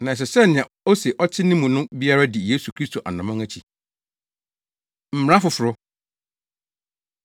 Na ɛsɛ sɛ nea ose ɔte ne mu no biara di Yesu Kristo anammɔn akyi. Mmara Foforo